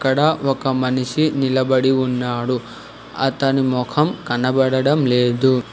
అక్కడ ఒక మనిషి నిలబడి ఉన్నాడు అతని మొఖం కనబడడం లేదు.